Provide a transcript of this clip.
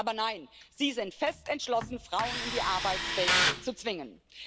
Aber nein, Sie sind fest entschlossen, Frauen in die Arbeitswelt zu zwingen.